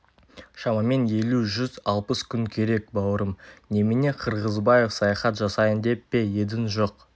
шамамен жүз елу жүз алпыс күн керек бауырым немене қырғызбаев саяхат жасайын деп пе едің жоқ